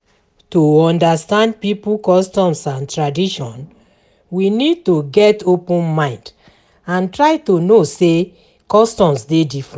To understand pipo customs and tradition we need to get open mind and try to know say customs dey differernt